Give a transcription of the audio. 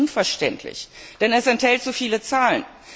Es ist unverständlich, denn es enthält zu viele Zahlen.